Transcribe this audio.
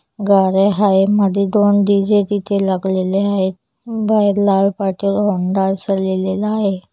गाड्या आहे मध्ये दोन डीजे तिथे लगलेले आहेत बाहेर लाल पाटीवर होंडा अस लिहिलेल आहे.